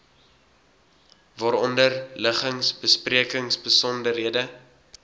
waaronder liggings besprekingsbesonderhede